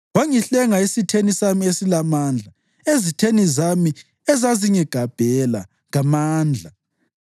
Wangihlenga esitheni sami esilamandla, ezitheni zami ezazingigabhela ngamandla.